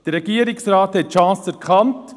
Der Regierungsrat hat die Chance erkannt.